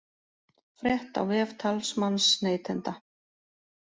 Frétt á vef talsmanns neytenda